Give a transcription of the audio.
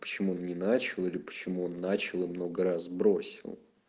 почему он не начал или почему он начал и много раз бросил